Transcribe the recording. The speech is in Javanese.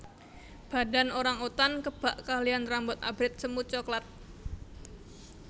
Badan orang utan kebak kaliyan rambut abrit semu coklat